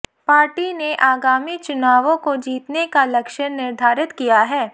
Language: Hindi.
पार्टी ने आगामी चुनावों को जीतने का लक्ष्य निर्धारित किया है